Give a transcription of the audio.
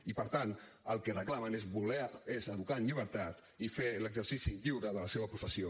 i per tant el que reclamen és voler educar en llibertat i fer l’exercici lliure de la seva professió